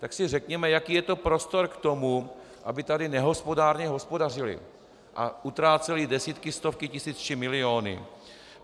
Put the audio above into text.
Tak si řekněme, jaký je to prostor k tomu, aby tady nehospodárně hospodařily a utrácely desítky, stovky tisíc či miliony.